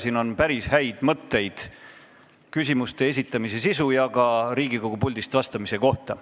Selles on päris häid mõtteid küsimuste esitamise sisu ja ka Riigikogu puldist vastamise kohta.